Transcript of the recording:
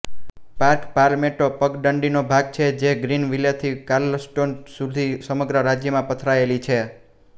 park Palmetto પગદંડીનો ભાગ છે જે ગ્રીન વિલેથી કાર્લસ્ટોન સુધી સમ્રગ રાજયમાં પથરાયેલી છે